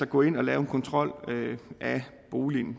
gå ind og lave en kontrol af boligen